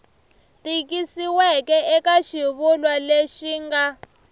tikisiweke eka xivulwa lexi nga